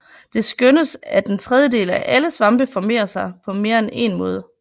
Det skønnes at en tredjedel af alle svampe formerer sig på mere end en måde